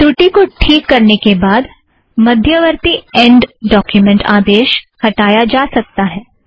त्रुटि को ठीक करने के बाद मध्यवर्ती ऐन्ड़ डॉक्युमेंट आदेश हटाया जा सकता है